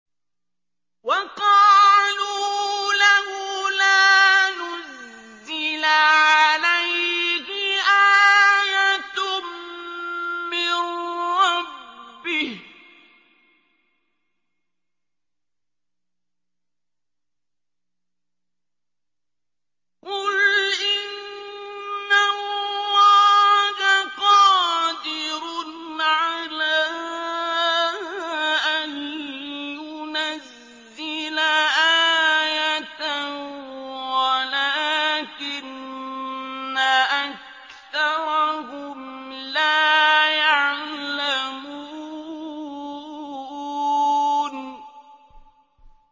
وَقَالُوا لَوْلَا نُزِّلَ عَلَيْهِ آيَةٌ مِّن رَّبِّهِ ۚ قُلْ إِنَّ اللَّهَ قَادِرٌ عَلَىٰ أَن يُنَزِّلَ آيَةً وَلَٰكِنَّ أَكْثَرَهُمْ لَا يَعْلَمُونَ